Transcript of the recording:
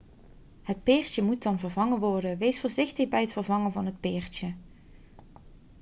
het peertje moet dan vervangen worden wees voorzichtig bij het vervangen van het peertje